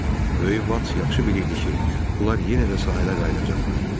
Böyük vad yaxşı bilirdi ki, onlar yenə də sahilə qayıdacaqlar.